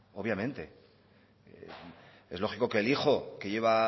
obviamente es lógico que el hijo que llevo